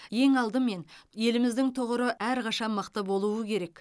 ең алдымен еліміздің тұғыры әрқашан мықты болуы керек